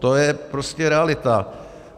To je prostě realita.